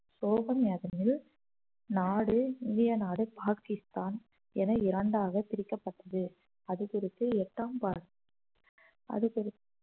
சோகம் யாதெனில் நாடு இந்திய நாடு பாகிஸ்தான் என இரண்டாக பிரிக்கப்பட்டது அது குறித்து எட்டாம் அது குறி